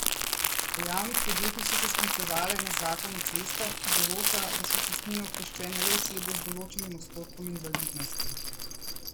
V javnih podjetjih so se sklicevali na zakon o cestah, ki določa, da so cestnine oproščene le osebe z določenim odstotkom invalidnosti.